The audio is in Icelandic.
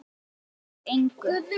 Hann breytti þó engu.